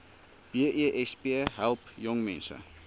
besp help jongmense